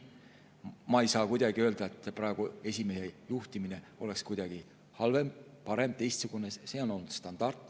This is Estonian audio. Ma ei saa kuidagi öelda, et esimees juhiks praegu kuidagi halvemini, paremini või teistmoodi, see on olnud standardne.